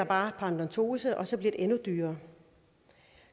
paradentose og så bliver det endnu dyrere